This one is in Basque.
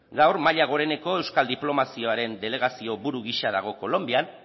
gaur mahia goreneko euskal diplomaziaren delegazio buru giza dago kolonbian